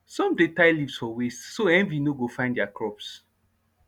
some dey tie leaves for waist so envy no go find their crops